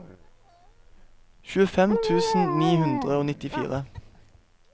tjuefem tusen ni hundre og nittifire